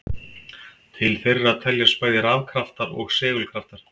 Til þeirra teljast bæði rafkraftar og segulkraftar.